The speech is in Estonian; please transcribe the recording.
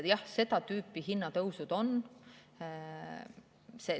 Jah, seda tüüpi hinnatõusud on.